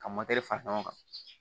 Ka fara ɲɔgɔn kan